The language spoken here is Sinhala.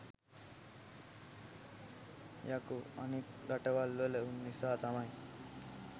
යකෝ අනික් රටවල් වල උන් නිසා තමයි